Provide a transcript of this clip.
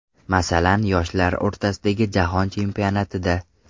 Masalan, yoshlar o‘rtasidagi Jahon Chempionatida.